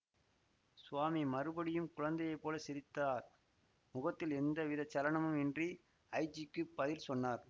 சுவாமி மறுபடியும் குழந்தையை போல சிரித்தார் முகத்தில் எந்த விதச் சலனமும் இன்றி ஐஜிக்குப் பதில் சொன்னார்